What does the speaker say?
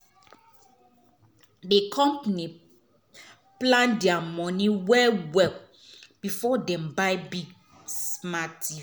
di couple plan their money well well before dem buy big smart tv.